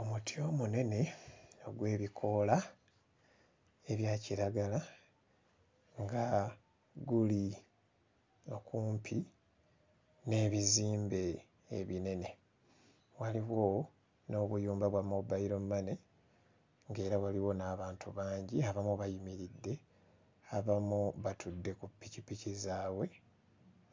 Omuti omunene ogw'ebikoola ebya kiragala nga guli okumpi n'ebizimbe ebinene, waliwo n'obuyumba bwa Mobile Money ng'era waliwo n'abantu bangi abamu bayimiridde abamu batudde ku ppikippiki zaabwe